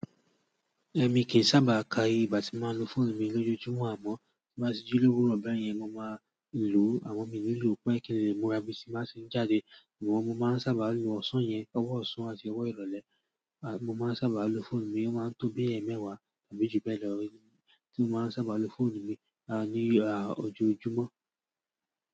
Ẹ̀mi kì í sábà ka ìgbà tí máa ń lo fóònù mi lójúmọ̀ àmọ́ tí máa ti jí lówó rọ̀ bẹ́ẹ̀ yẹn mo máa ń lo ama mi nílùú pé kíni mòra bí ti máa ṣe jáde. Sugbon mo máa ń sábà lo ọ̀sán yẹn, ọwọ ọ̀sán àti ọwọ ìrọ̀lẹ́. Mo máa ń sábà lo fóònù mi, ó máa ń tó bí ẹẹ́mẹ́wàá àbí ju bẹ́ẹ̀ lọ tí mo sábà lo fóònù mi ní ojojúmọ́